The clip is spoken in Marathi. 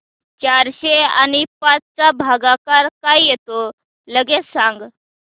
चारशे आणि पाच चा भागाकार काय येतो लगेच सांग